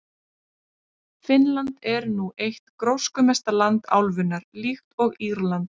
Finnland er nú eitt gróskumesta land álfunnar, líkt og Írland.